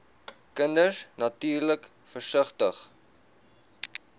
kinders natuurlik versigtig